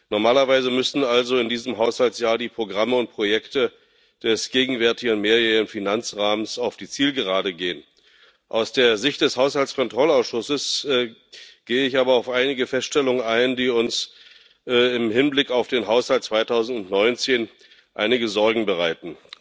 Normalerweise müssten also in diesem Haushaltsjahr die Programme und Projekte des gegenwärtigen mehrjährigen Finanzrahmens auf die Zielgerade gehen. Aus der Sicht des Haushaltskontrollausschusses gehe ich aber auf einige Feststellungen ein, die uns im Hinblick auf den Haushalt 2019 einige Sorgen bereiten.